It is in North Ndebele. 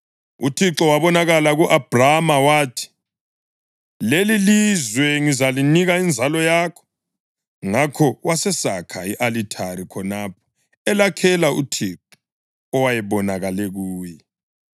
UThixo wabonakala ku-Abhrama wathi, “Lelilizwe ngizalinika inzalo yakho.” Ngakho wasesakha i-alithari khonapho elakhela uThixo owayebonakele kuye.